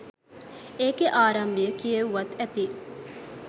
ඒකෙ ආරම්භය කියෙව්වත් ඇති.